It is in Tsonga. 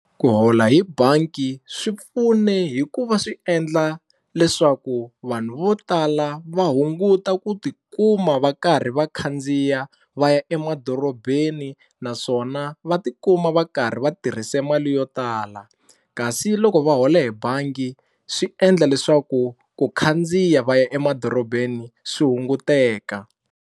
Ku hola hi bangi swi pfune hikuva swi endla leswaku vanhu vo tala va hunguta ku tikuma va karhi va khandziya va ya emadorobeni naswona va ti kuma va karhi va tirhise mali yo tala kasi loko va hole hi bangi swi endla leswaku ku khandziya va ya emadorobeni swi hunguteka.